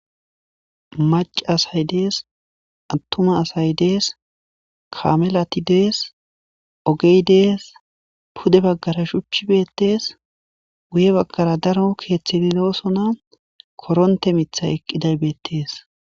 Mac'a asay des atuma asay des kamelati des ogey des pude bagara shuchi betes guye bagara daro kethiti dosona koronte mithay eqiday betes.